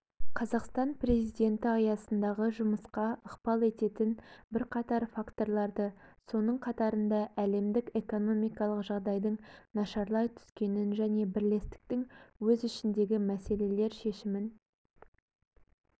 қазақстан президенті аясындағы жұмысқа ықпал ететін бірқатар факторларды соның қатарында әлемдік экономикалық жағдайдың нашарлай түскенін және бірлестіктің өз ішіндегі мәселелер шешімін